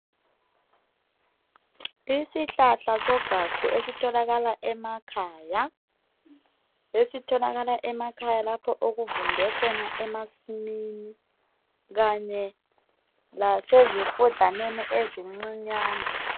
Isihlahla sogagu esitholakala emakhaya lapho kuvunde khona emasimini kanye lasezifudlaneni ezincinyane .